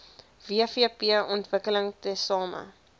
wvp ontwikkel tesame